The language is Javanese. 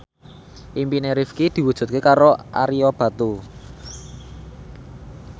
impine Rifqi diwujudke karo Ario Batu